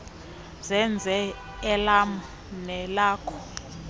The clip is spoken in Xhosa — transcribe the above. senze elam nelakho